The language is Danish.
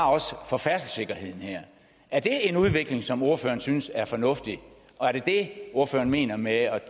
for færdselssikkerheden er det en udvikling som ordføreren synes er fornuftig og er det det ordføreren mener med